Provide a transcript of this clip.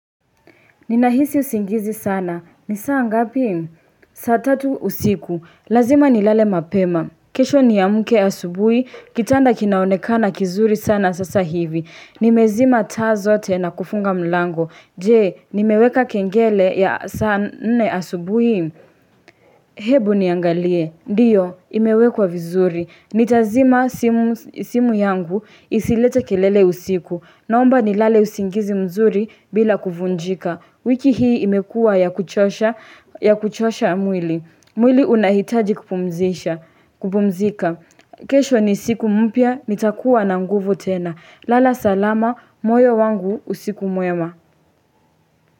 Ninahisi usingizi sana. Ni saa ngapi? Saa tatu usiku. Lazima ni lale mapema. Kesho niamke asubui. Kitanda kinaonekana kizuri sana sasa hivi. Nimezima taa zote na kufunga mlango. Jee, nimeweka kengele ya saa nne asubui? Hebu niangalie. Ndiyo, imewekwa vizuri. Nitazima simu yangu isilete kelele usiku. Naomba ni lale usingizi mzuri bila kuvunjika. Wiki hii imekua ya kuchosha mwili. Mwili unahitaji kupumzika. Kesho ni siku mpya, nitakuwa na nguvu tena. Lala salama, moyo wangu usiku mwema.